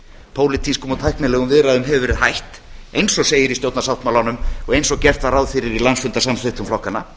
pólitískum og tæknilegum viðræðum hefur verið hætt eins og segir í stjórnarsáttmálanum og eins og gert var ráð fyrir í landsfundarsamþykktum flokkanna